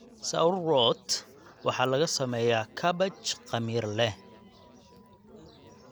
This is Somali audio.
Sauerkraut waxaa laga sameeyaa kaabaj khamiir leh.